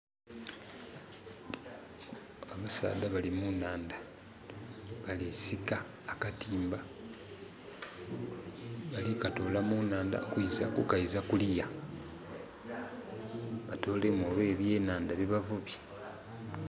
Abasaadha bali munaandha balisika akatimba balikatola munaandha ku kaiza kuluya batoolemu oba ebyenanda bebavubye